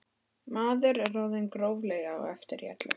Maður er orðinn gróflega á eftir í öllu.